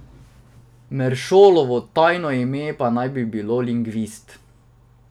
Meršolovo tajno ime naj bi bilo Lingvist.